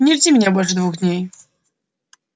не жди меня больше двух дней